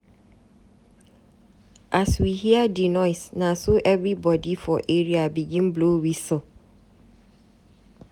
As we hear di noise, na so everybodi for area begin blow wistle.